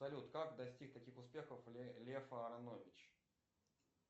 салют как достиг таких успехов лев аранович